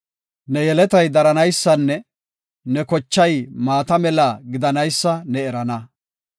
Ne yeletay daranaysanne ne kochay maata mela gidanaysa ne erana.